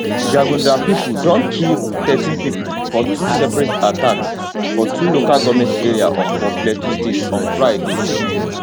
jagunda pipo don kill thirteen pipo for two separate attacks for two local goment area for plateau state on friday